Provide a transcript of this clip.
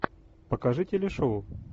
покажи телешоу